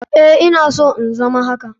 Eh ina so in zama haka.